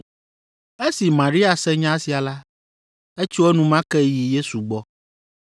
Esi Maria se nya sia la, etso enumake yi Yesu gbɔ.